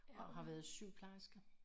Og har været sygeplejerske